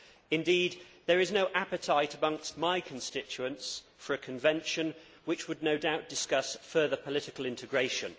Indeed, there is no appetite amongst my constituents for a convention which would no doubt discuss further political integration.